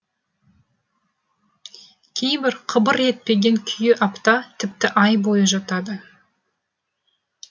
кейбір қыбыр етпеген күйі апта тіпті ай бойы жатады